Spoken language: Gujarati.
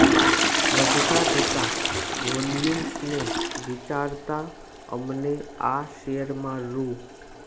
વધતા જતા વોલ્યુમ્સને વિચારતા અમને આ શેરમાં રૂ